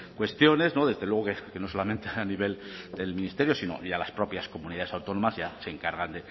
cuestiones desde luego que no solamente a nivel del ministerio sino ya a las propias comunidades autónomas ya se encargan